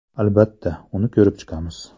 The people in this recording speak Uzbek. Albatta, uni ko‘rib chiqamiz.